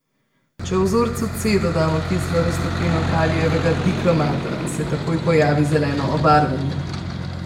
Če vzorcu C dodamo kislo raztopino kalijevega dikromata, se takoj pojavi zeleno obarvanje.